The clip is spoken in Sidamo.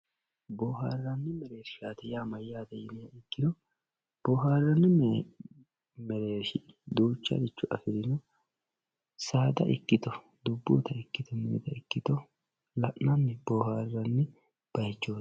boohaarranni mereershsha yaa mayyate yiniha ikkiro boohaarranni mereershi duucharicho afirino saada ikkito dubbunnita ikkito minita ikkito la'nanni boohaarranni bayiichooti.